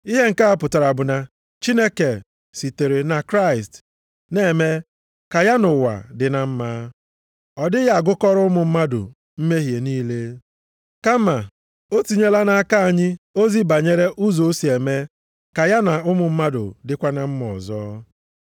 Ihe nke a pụtara bụ na Chineke sitere na Kraịst na-eme ka ya na ụwa dị na mma. Ọ dịghị agụkọrọ ụmụ mmadụ mmehie niile, kama o tinyela nʼaka anyị ozi banyere ụzọ o si eme ka ya na ụmụ mmadụ dịkwa na mma ọzọ.